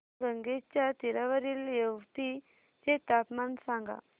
पैनगंगेच्या तीरावरील येवती चे तापमान सांगा